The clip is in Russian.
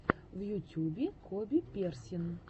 в ютюбе коби персин